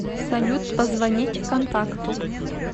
салют позвонить контакту